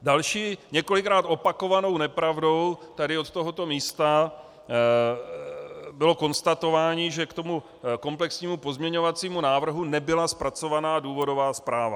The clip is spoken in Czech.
Další několikrát opakovanou nepravdou tady z tohoto místa bylo konstatování, že k tomu komplexnímu pozměňovacímu návrhu nebyla zpracovaná důvodová zpráva.